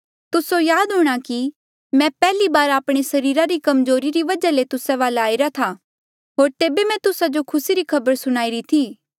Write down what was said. तुस्से याद हूंणा कि मैं पैहली बार आपणे सरीरा री कमजोरी री वजहा ले तुस्सा वाले आईरा था होर तेबे मैं तुस्सा जो खुसी री खबर सुणाई री थी